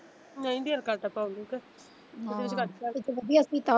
ਨਹੀਂ ਦਿਲ ਕਰਦਾ ਪਾਉਣ ਨੂੰ ਕੇ ਵਧੀਆ ਸੀਤਾ।